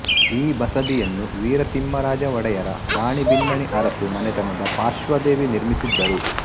ಈ ಬಸದಿಯನ್ನು ವೀರ ತಿಮ್ಮರಾಜ ಒಡೆಯರ ರಾಣಿ ಬಿನ್ನಣಿ ಅರಸು ಮನೆತನದ ಪಾರ್ಶ್ವದೇವಿ ನಿರ್ಮಿಸಿದ್ದರು